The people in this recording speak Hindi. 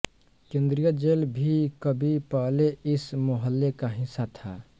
केन्द्रीय जेल भी कभी पहले इस मोहल्ले का हिस्सा था